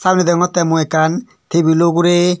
uri degongottey mui ekkan tebilo ugurey.